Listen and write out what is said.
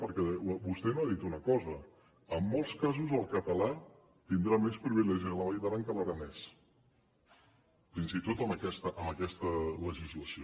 perquè vostè no ha dit una cosa en molts casos el català tindrà més privilegis a la vall d’aran que l’aranès fins i tot amb aquesta legislació